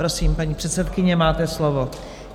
Prosím, paní předsedkyně, máte slovo.